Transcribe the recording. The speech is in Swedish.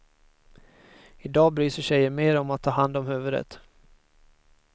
Idag bryr sig tjejer mer om att ta hand om huvudet.